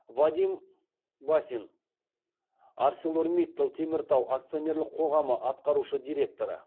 вадим басин арселор миттал теміртау акционерлік қоғамы атқарушы директоры